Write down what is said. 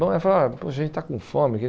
Bom, a gente está com fome.